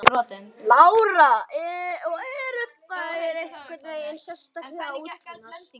Lára: Og eru þær einhvern veginn sérstaklega útbúnar?